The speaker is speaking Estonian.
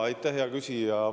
Aitäh, hea küsija!